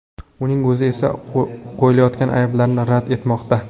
Uning o‘zi esa qo‘yilayotgan ayblarni rad etmoqda.